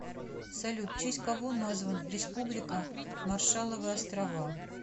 салют в честь кого назван республика маршалловы острова